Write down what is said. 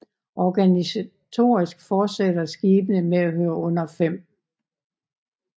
Organisatorisk fortsætter skibene med at høre under 5